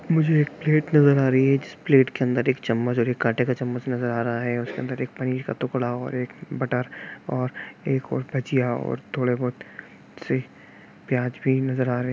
मुझे एक प्लेट नजर आ रही है जिस प्लेट के अंदर एक चम्मच और एक कान्टे का चम्मच नजर आ रहा है उसके अंदर एक पनीर का टुकड़ा और एक बटर और एक और भजिया और थोड़े बहुत से प्याज भी नजर आ रहे--